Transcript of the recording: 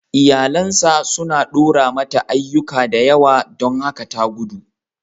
Iyalinsa suna ɗora mata ayyuka da yawa don haka ta gudu.